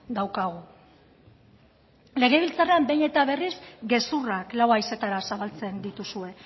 daukagu legebiltzarrean behin eta berriz gezurrak lau haizetara zabaltzen dituzue